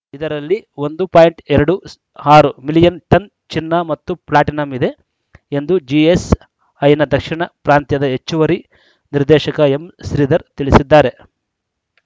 ಇದರಲ್ಲಿ ಒಂದು ಪಾಯಿಂಟ್ ಎರಡು ಆರು ಮಿಲಿಯನ್‌ ಟನ್‌ ಚಿನ್ನ ಮತ್ತು ಪ್ಲಾಟಿನಂ ಇದೆ ಎಂದು ಜಿಎಸ್‌ಐನ ದಕ್ಷಿಣ ಪ್ರಾಂತ್ಯದ ಹೆಚ್ಚುವರಿ ನಿರ್ದೇಶಕ ಎಂ ಶ್ರೀಧರ್‌ ತಿಳಿಸಿದ್ದಾರೆ